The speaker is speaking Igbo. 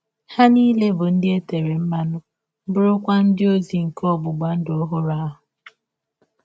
Ha nile bụ ndị e tere mmanụ, bụrụkwa ndị ọzi nke ọgbụgba ndụ ọhụrụ ahụ.